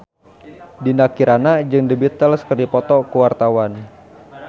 Dinda Kirana jeung The Beatles keur dipoto ku wartawan